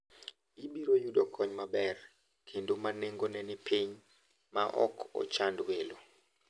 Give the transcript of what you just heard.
Ibiro yudo kony maber kendo ma nengone ni piny maok ochand welo.